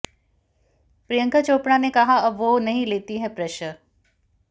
प्रियंका चोपड़ा ने कहा अब वो नहीं लेती हैं प्रेशर